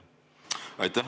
Aitäh!